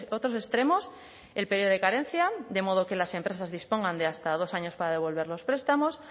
otros extremos el periodo de carencia de modo que las empresas dispongan de hasta dos años para devolver los prestamos